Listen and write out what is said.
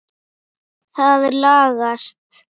Það lagast.